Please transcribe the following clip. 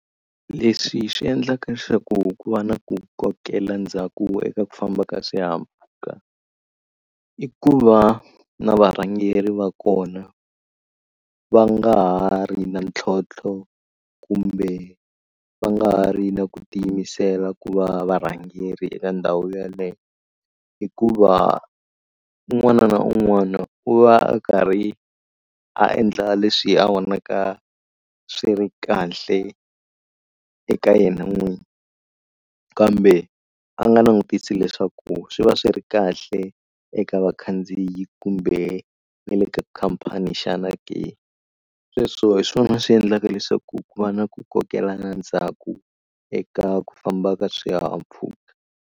Leswi swi endlaka leswaku ku va na ku kokela ndzhaku eka ku famba ka swihahampfhuka i ku va na varhangeri va kona va nga ha ri na ntlhontlho kumbe va nga ha ri na ku tiyimisela ku va varhangeri eka ndhawu yeleyo hikuva un'wana na un'wana u va a karhi a endla leswi a vonaka swi ri kahle eka yena n'winyi kambe a nga langutisi leswaku swi va swi ri kahle eka vakhandziyi kumbe ni le ka khampani xana ke. Sweswo hi swona swi endlaka leswaku ku va na ku kokela ndzhaku eka ku famba ka swihahampfhuka.